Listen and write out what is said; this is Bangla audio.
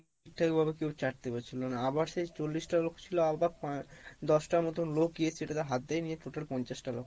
ঠাক ভাবে কেউ চারতে পারছিল না আবার সে চল্লিশ টা লোক ছিলো আবার পাঁচ দশটার মতন লোক গিয়ে সেটাতে হাতে নিয়ে টোটাল পঞ্চাশ টা লোক,